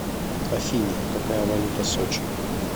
афина какая валюта сочи